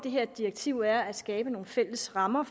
her direktiv er at skabe nogle fælles rammer